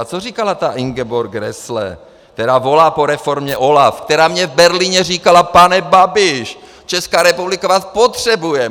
A co říkala ta Ingeborg Grässle, která volá po reformě OLAFu, která mně v Berlíně říkala: Pane Babiš, Česká republika vás potřebuje!